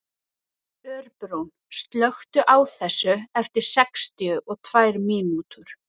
Örbrún, slökktu á þessu eftir sextíu og tvær mínútur.